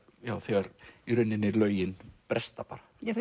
já þegar í rauninni lögin bresta bara já